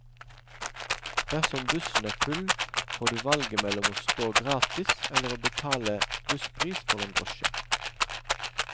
Dersom bussen er full, får du valget mellom å stå gratis eller å betale busspris for en drosje.